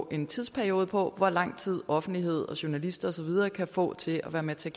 en tidsperiode på hvor lang tid offentlighed journalister og så videre kan få til at være med til